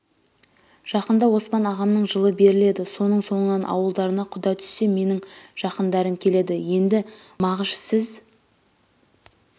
жақында оспан ағамның жылы беріледі соның соңынан ауылдарына құда түсе менің жақындарым келеді енді мағыш сіз